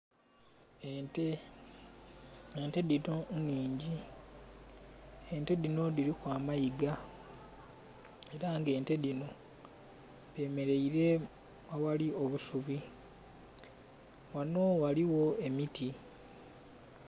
Ente, ente dhino nnhingi ente dhino dhiliku amayiga ela nga ente dhino dhemeleire aghali obusubi. Ghano ghaligho emiti.